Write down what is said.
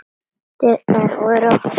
Dyrnar voru opnar.